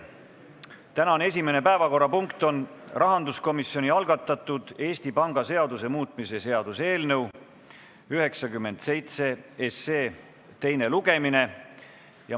Tänane esimene päevakorrapunkt on rahanduskomisjoni algatatud Eesti Panga seaduse muutmise seaduse eelnõu 97 teine lugemine.